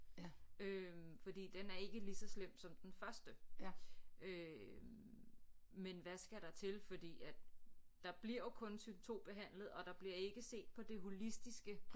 Øh fordi den er ikke ligeså slem som den første øh men hvad skal der til fordi at der bliver jo kun symptombehandlet og der bliver ikke set på det holistiske